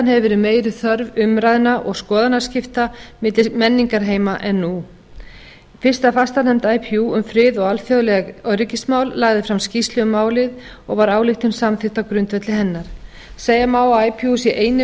hefur verið meiri þörf umræðna og skoðanaskipta milli menningarheima en nú fyrsta fastanefnd ipu um frið og alþjóðleg öryggismál lagði fram skýrslu um málið og var ályktun samþykkt á grundvelli hennar segja má að ipu sé eini